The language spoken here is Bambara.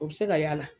O bɛ se ka y'a la